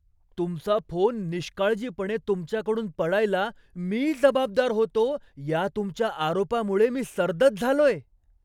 तुमचा फोन निष्काळजीपणे तुमच्याकडून पडायला मी जबाबदार होतो या तुमच्या आरोपामुळे मी सर्दच झालोय.